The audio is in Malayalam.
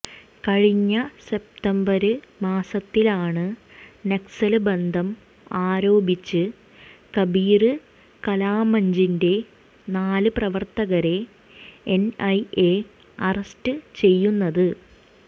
കഴിഞ്ഞ സെപ്തംബര് മാസത്തിലാണ് നക്സല് ബന്ധം ആരോപിച്ച് കബീര് കലാമഞ്ചിന്റെ നാല് പ്രവര്ത്തകരെ എന്ഐഎ അറസ്റ്റ് ചെയ്യുന്നത്